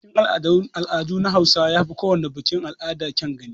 Bikin al'adu na hausawa yafi kowana bikin al'ada kyawun gani.